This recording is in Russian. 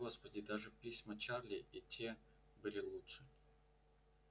господи даже письма чарли и те были лучше